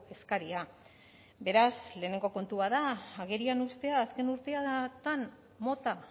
eskaria beraz lehenengo kontua da agerian uztea azken urteetan mota